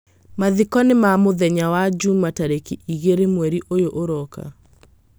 Mathiko nĩ ma mũthenya wa juma tareki igeerĩ mweri ũyũ ũroka.